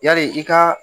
Yali i ka